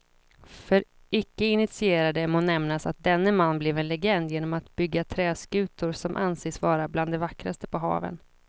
För icke initierade må nämnas att denne man blev en legend genom att bygga träskutor som anses vara bland de vackraste på haven.